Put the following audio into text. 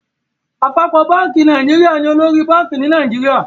Àpapọ bánkì Nàìjíríà ní olórí bank ní Nàìjíríà.